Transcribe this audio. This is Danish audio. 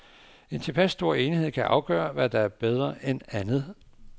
En tilpas stor enighed kan afgøre, hvad der er bedre end andet.